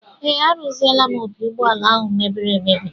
Ee, arụziela m opi ụgbọala ahụ mebiri emebi